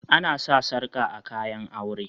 Ana sa sarƙa a kayan aure